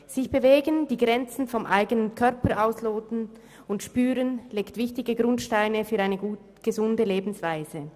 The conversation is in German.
Sich zu bewegen und die Grenzen des eigenen Körpers zu spüren und auszuloten, dies legt wichtige Grundsteine für eine gesunde Lebensweise.